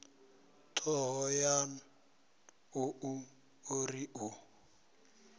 thohoyanḓ ou o ri u